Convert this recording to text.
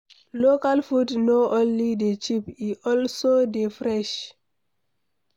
Local food no only dey cheap, e also dey fresh